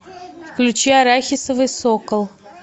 включи арахисовый сокол